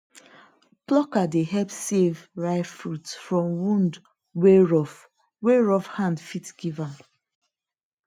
plucker dey help save ripe fruit from wound wey rough wey rough hand fit give am